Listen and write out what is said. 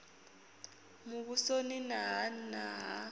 muvhusoni na ha nna ha